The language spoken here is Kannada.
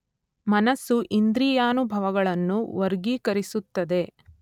ಮನಸ್ಸು ಇಂದ್ರಿಯಾನುಭವಗಳನ್ನು ವರ್ಗೀಕರಿಸುತ್ತದೆ.